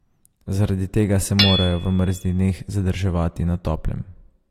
Zaradi tega se morajo v mrzlih dneh zadrževati na toplem.